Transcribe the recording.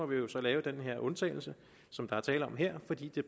vi lave den undtagelse som der er tale om her fordi det